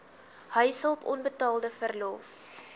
huishulp onbetaalde verlof